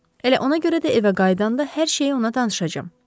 Elə ona görə də evə qayıdanda hər şeyi ona danışacam.